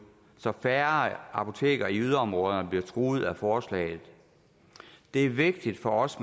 så færre apoteker i yderområderne bliver truet af forslaget det er vigtigt for os